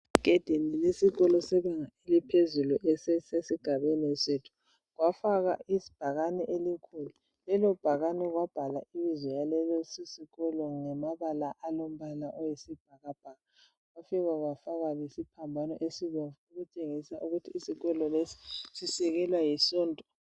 Egedini lesikolo sebanga eliphezulu esisesigabeni sethu kwafakwa ibhakani elikhulu lelo bhakane kwabhala ibizo laleso sikolo ngamabala alombala oyisibhakabhaka kwafikwa kwafakwa lesiphambano esibomvu okutshengisa ukuthi isikolo lesi sisekelwa lisonto